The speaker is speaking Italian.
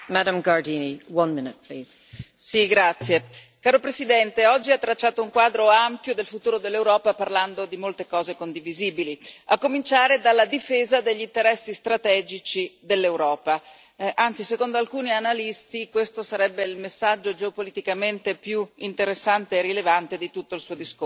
Signora Presidente, onorevoli colleghi, signor Presidente della Commissione, oggi ha tracciato un quadro ampio del futuro dell'Europa parlando di molte cose condivisibili, a cominciare dalla difesa degli interessi strategici dell'Europa. Anzi, secondo alcuni analisti, questo sarebbe il messaggio geopoliticamente più interessante e rilevante di tutto il Suo discorso.